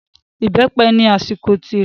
Ìbẹ́pẹ ni àsìkò tirẹ̀.